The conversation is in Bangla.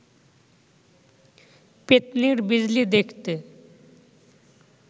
পেত্নির বিজলি দেখতে